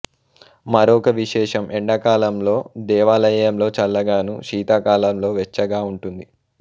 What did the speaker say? మరొక విశేషం ఎండకాలం లో దేవాలయం లో చల్లగాను శీతకాలం లో వెచ్చగా ఉంటుంది